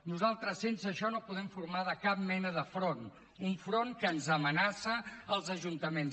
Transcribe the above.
nosaltres sense això no podem formar cap mena de front un front que ens amenaça als ajuntaments